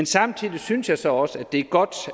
samtidig synes jeg så også at det er godt